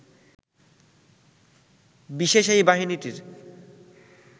বিশেষ এই বাহিনীটির